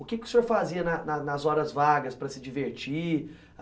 O que o senhor fazia na na nas horas vagas para se divertir?